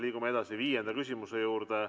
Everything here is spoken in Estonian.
Liigume edasi viienda küsimuse juurde.